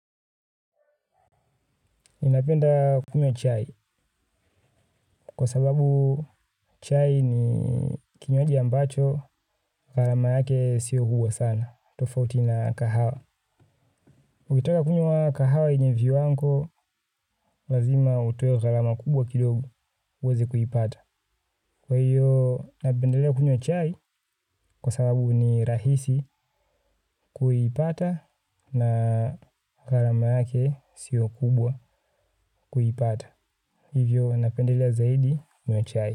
Ninapenda kunywa chai, kwa sababu chai ni kinywaji ambacho, gharama yake sio kubwa sana, tofauti na kahawa. Ukitaka kunywa kahawa yenye viwango, lazima utoe gharama kubwa kidogo, uweze kuipata. Kwa hiyo, napendelea kunywa chai, kwa sababu ni rahisi kuipata na gharama yake sio kubwa kuipata. Hivyo, napendelea zaidi kunywa chai.